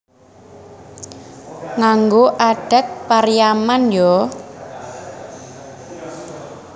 Nganggo adat Pariaman yo